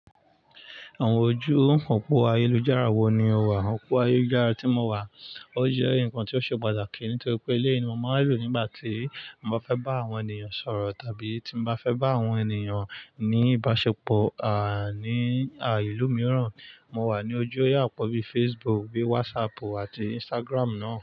Àwọn ojú òpó ayélujára wo ni o wà? Òpó ayélujára tí mo wà, ó jẹ́ nǹkan tó ṣe pàtàkì nítorí pé ilé mi máa ń lò nígbà tí mo bá fẹ́ bá àwọn ènìyàn sọ̀rọ̀ tàbí tí mo bá fẹ́ bá àwọn ènìyàn ní ìbáṣepọ̀ àní à ìlú mìíràn. Mo wà ní ojú òyà pọ̀ bíi Facebook, bíi WhatsApp àti Instagram náà.